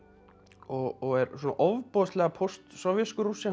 og er svona ofboðslega Post sovéskur Rússi hann